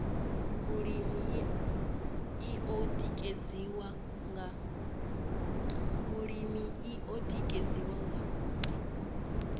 vhulimi i o tikedziwa nga